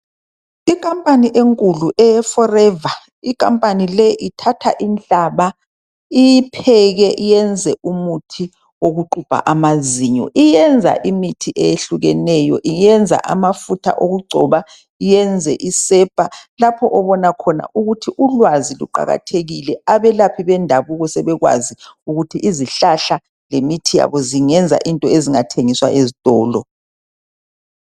Ikhampani enkulu eye Forever, ikampani leyi ithatha inhlaba, iyipheke iyenze umuthi wokuxubha amazinyo. Iyenza imithi eyehlukeneyo, iyenza amafutha okugcoba, iyenze isepa, lapho obona khona ukuthi ulwazi luqakathekile. Abelaphi bendabuko sebekwazi ukuthi izihlahla lemithi yabo zingenza into ezingathengiswa ezitolo.